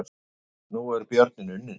Nú er björninn unninn